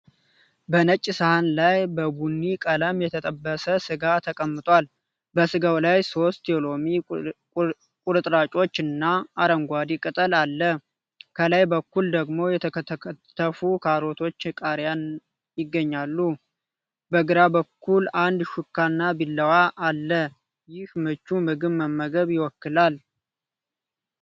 በነጭ ሳህን ላይ በቡኒ ቀለም የተጠበሰ ሥጋ ተቀምጧል። በሥጋው ላይ ሶስት የሎሚ ቁርጥራጮች እና አረንጓዴ ቅጠል አለ፡፡ ከላይ በኩል ደግሞ የተከተፉ ካሮቶችና ቃሪያ ይገኛሉ። በግራ በኩል አንድ ሹካና ቢላዋ አለ። ይህ ምቹ ምግብ መመገብ ይወክላል።